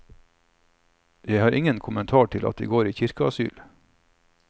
Jeg har ingen kommentar til at de går i kirkeasyl.